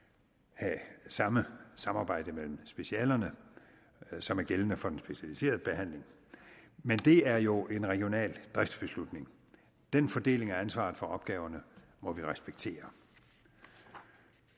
have samme samarbejde mellem specialerne som er gældende for den specialiserede behandling men det er jo en regional driftsbeslutning den fordeling af ansvaret for opgaverne må vi respektere